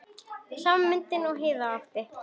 Sama myndin og Heiða átti.